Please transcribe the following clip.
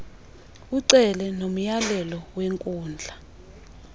ucele nomyalelo wenkundla